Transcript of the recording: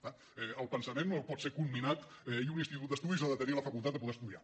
és clar el pensament no pot ser comminat i un institut d’estudis ha de tenir la facultat de poder estudiar